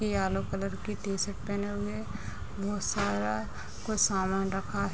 yellow colour की T-shirt पहने हुए कुछ सामान रखा ह --